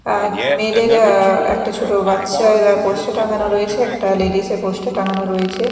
অ্যা মেয়েডের অ্যা একটা ছোট বাচ্চার পোস্টার টাঙ্গানো রয়েছে একটা লেডিস -এর পোস্টার টাঙানো রয়েছে।